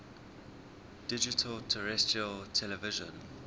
digital terrestrial television